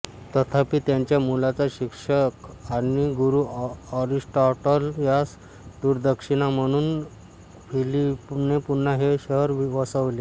तथापि त्याच्या मुलाचा शिक्षक आणि गुरु एरिस्टॉटल यास गुरुदक्षिणा म्हणून फिलीपने पुन्हा हे शहर वसविले